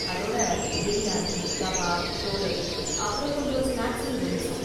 அதோட பிரியாணி, கபாப், சோலே, அப்புறம் கொஞ்சம் ஸ்நாக்ஸும் ட்ரிங்க்ஸும்.